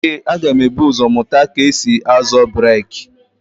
Ee, m ga-ebu ụzọ mụta ka esi-azọ breeki.